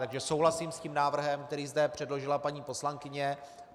Takže souhlasím s tím návrhem, který zde předložila paní poslankyně.